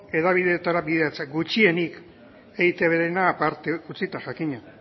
hedabideetara bideratzea gutxienik eitbrena aparte utzita jakina